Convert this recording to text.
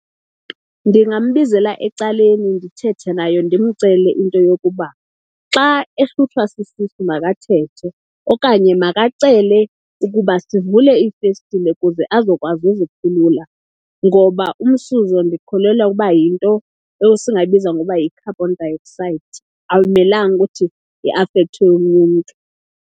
Ndingambizela ecaleni ndithethe naye, ndimcele into yokuba xa ehlutshwa sisisu makathethe okanye makacele ukuba sivule iifestile kuze azokwazi uzikhulula. Ngoba umsuzo ndikholelwa ukuba yinto esingayibiza ngoba yi-carbon dioxide, awumelanga ukuthi iafekthe omnye umntu.